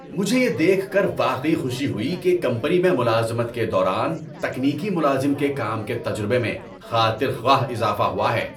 مجھے یہ دیکھ کر واقعی خوشی ہوئی کہ کمپنی میں ملازمت کے دوران تکنیکی ملازم کے کام کے تجربے میں خاطر خواہ اضافہ ہوا ہے۔